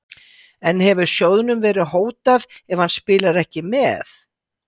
En hefur sjóðnum verið hótað ef hann spilar ekki með?